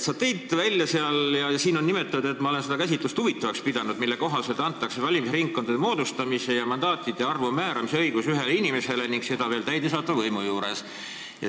Sa tõid välja – protokollis on nimetatud, et ma olen seda käsitlust huvitavaks pidanud –, et valimisringkondade moodustamise ja mandaatide arvu määramise õigus antakse ühele inimesele ning see toimub veel täidesaatva võimu juures.